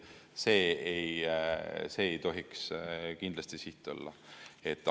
See ei tohiks kindlasti siht olla.